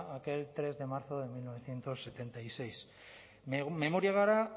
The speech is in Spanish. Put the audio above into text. aquel tres de marzo de mil novecientos setenta y seis memoria gara